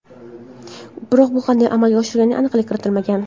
Biroq bu qanday amalga oshishiga aniqlik kiritilmagan.